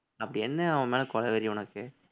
அப்படி என்ன அவன்மேல கொலவெறி உனக்கு